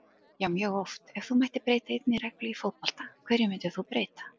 Já mjög oft Ef þú mættir breyta einni reglu í fótbolta, hverju myndir þú breyta?